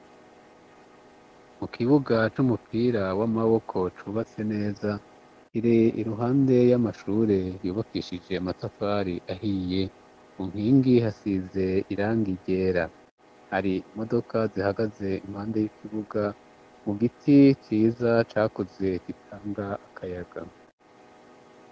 Mu kibuga c'umupira w'amaboko cubatse neza, kiri iruhande y'amashure yubakishije matafari ahiye, ku nkingi hasize irangi ryera, hari imodoka zihagaze impande y'ikibuga mu giti ciza cakuze gitanga akayaga